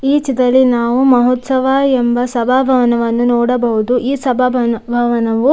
ಈ ಚಿತ್ರದಲ್ಲಿ ನಾವು ಮಹೋತ್ಸವ ಎಂಬ ಸಭಾಭವನವನ್ನು ನೋಡಬಹುದು ಈ ಸಭಾ ಸಭಾಭವನವು --